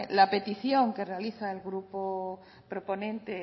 la petición que realiza el grupo proponente